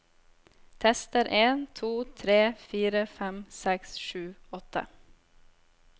Tester en to tre fire fem seks sju åtte